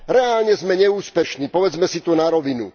Reálne sme neúspešní, povedzme si to na rovinu.